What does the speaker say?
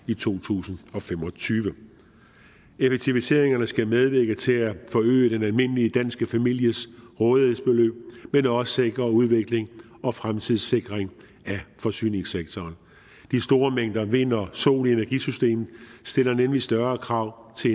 i to tusind og fem og tyve effektiviseringerne skal medvirke til at forøge den almindelige danske families rådighedsbeløb men også sikre udvikling og fremtidssikring af forsyningssektoren de store mængder vind og sol i energisystemet stiller nemlig større krav til